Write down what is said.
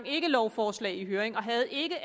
ikke lovforslag i høring og havde ikke